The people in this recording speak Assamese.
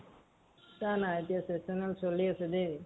চিন্তা নাই এতিয়া চলি আছে যে।